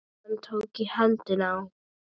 Hann tók í hendina á